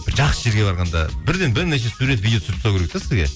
бір жақсы жерге барғанда бірден бірнеше сурет видео түсіріп тастау керек те сізге